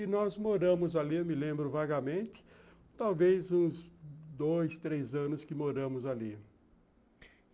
E nós moramos ali, eu me lembro vagamente, talvez uns dois, três anos que moramos ali.